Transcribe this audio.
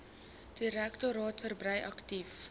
direktoraat verbrei aktief